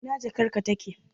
Ina jakarka take?